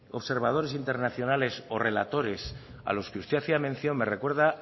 observadores internacionales o relatores a los que usted hacía mención me recuerda